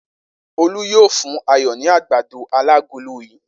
Olú yóò fún Ayọ̀ ní àgbàdo alágolo yìí!